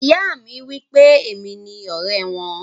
Ìyá mi wípé èmi ni ọrẹ wọn.